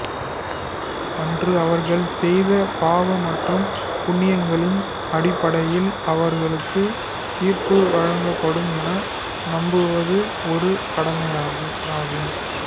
அன்று அவர்கள் செய்த பாவ மற்றும் புண்ணியங்களின் அடிப்படையில் அவர்களுக்கு தீர்ப்பு வழங்கப்படும் என நம்புவது ஒரு கடமையாகும்